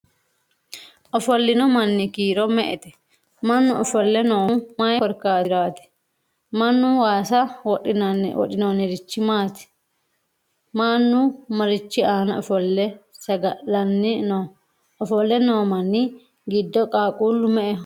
Ofollino manni kiiro me'ete? Mannu ofolle noohu may korkaatiraati? Mannu waasa wodhinorichi maati? Mannu marichi aana ofolle saga'lanni no? Ofolle noomanni giddo qaaqquullu me'eho?